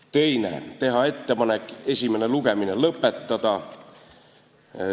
Teiseks, teha ettepanek esimene lugemine lõpetada.